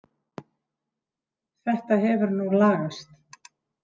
Þetta hefur nú lagast.